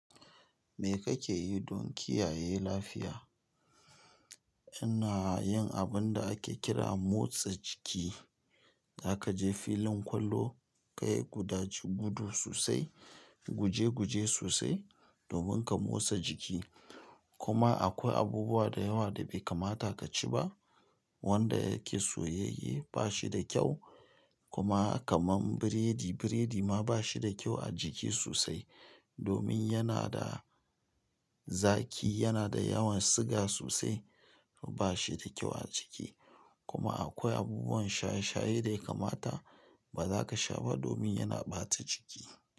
Me kake yi don kiyaye lafiya? Ina yin abin da ake kira motsa jiki. Zaka je filin kwallo, ka yi gudaje gudu sosai, guje guje sosai domin ka motsa jiki. Kuma akwai abubuwa da yawa da bai kamata ka ci ba wanda yake soyayye ba shi da kyau. Kuma kaman biredi, biredi ma ba shi da kyau a jiki sosai domin yana da zaki, yana da yawan sugar sosai. Ba shi da kyau a jiki. Kuma akwai abubuwan shaye shaye da ya kamata ba za ka sha ba domin yana ɓata jiki.